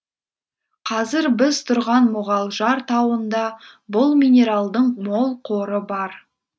қазір біз тұрған мұғалжар тауында бұл минералдың мол қоры бар